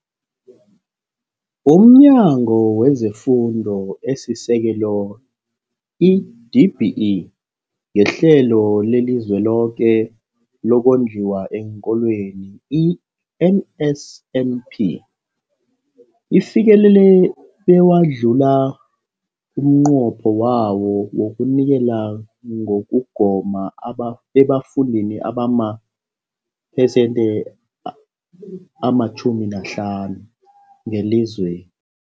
UmNyango wezeFundo esiSekelo, i-DBE, ngeHlelo leliZweloke lokoNdliwa eenKolweni, i-NSNP, ufikelele bewadlula umnqopho wawo wokunikela ngokugoma aba ebafundini abamaphesenthe ama-10 na-5 ngelizwe